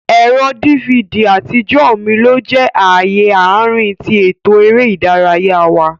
Ẹrọ DVD atijọ mí lo jẹ ààyè àárín tí eto eré ìdárayá wá.